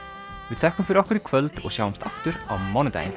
við þökkum fyrir okkur í kvöld og sjáumst aftur á mánudaginn